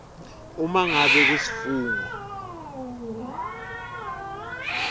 uma ngabe kusifungo